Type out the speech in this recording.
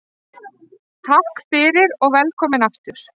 Takk fyrir og velkomin aftur.